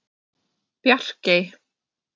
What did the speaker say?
Bjarkey